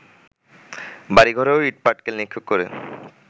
বাড়িঘরেও ইটপাটকেল নিক্ষেপ করে